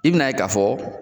I bina ye ka fɔ